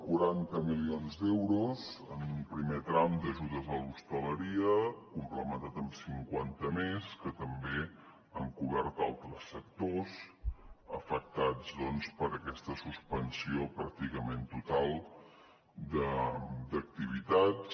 quaranta milions d’euros en un primer tram d’ajudes a l’hostaleria complementat amb cinquanta més que també han cobert altres sectors afectats per aquesta suspensió pràcticament total d’activitats